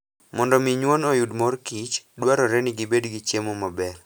Mondo omi nyuon oyud mor kich, dwarore ni gibed gi chiemo maber.